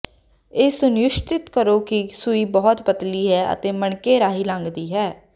ਇਹ ਸੁਨਿਸ਼ਚਿਤ ਕਰੋ ਕਿ ਸੂਈ ਬਹੁਤ ਪਤਲੀ ਹੈ ਅਤੇ ਮਣਕੇ ਰਾਹੀਂ ਲੰਘਦੀ ਹੈ